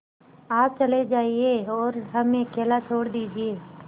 आप चले जाइए और हमें अकेला छोड़ दीजिए